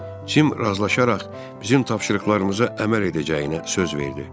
Cim razılaşaraq bizim tapşırıqlarımıza əməl edəcəyinə söz verdi.